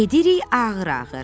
Gedirik ağır-ağır.